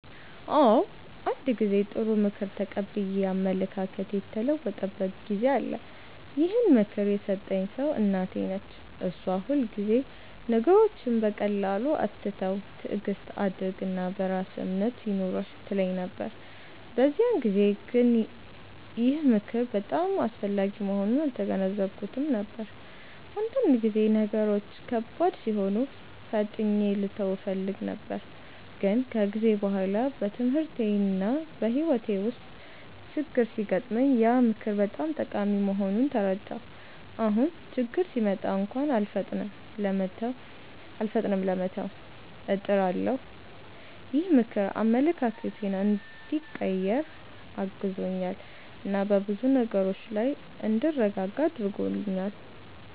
አዎ፣ አንድ ጊዜ ጥሩ ምክር ተቀብዬ አመለካከቴ የተለወጠበት ጊዜ አለ። ይህን ምክር የሰጠኝ ሰው እናቴ ነች። እሷ ሁልጊዜ “ነገሮችን በቀላሉ አትተው፣ ትዕግስት አድርግ እና በራስህ እምነት ይኑርህ” ትለኝ ነበር። በዚያን ጊዜ ግን ይህ ምክር በጣም አስፈላጊ መሆኑን አልተገነዘብኩትም ነበር፤ አንዳንድ ጊዜ ነገሮች ከባድ ሲሆኑ ፈጥኜ ልተው እፈልግ ነበር። ግን ከጊዜ በኋላ በትምህርቴና በሕይወቴ ውስጥ ችግኝ ሲገጥመኝ ያ ምክር በጣም ጠቃሚ መሆኑን ተረዳሁ። አሁን ችግኝ ሲመጣ እንኳን አልፈጥንም ለመተው፣ እጥራለሁ። ይህ ምክር አመለካከቴን እንዲቀይር አግዞኛል እና በብዙ ነገሮች ላይ እንድረጋጋ አድርጎኛል።